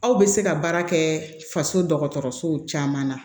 Aw bɛ se ka baara kɛ faso dɔgɔtɔrɔsow caman na